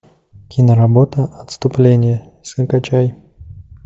киноработа отступление закачай